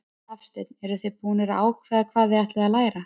Hafsteinn: Eruð þið búnar að ákveða hvað þið ætlið að læra?